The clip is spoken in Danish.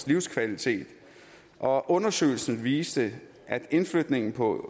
livskvalitet og undersøgelsen viste at indflytning på